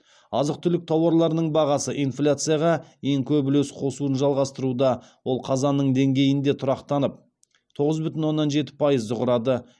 азық түлік тауарларының бағасы инфляцияға ең көп үлес қосуын жалғастыруда ол қазанның деңгейінде тұрақтанып тоғыз бүтін оннан жеті пайызды құрады